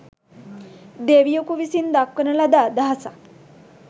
දෙවියකු විසින් දක්වන ලද අදහසක්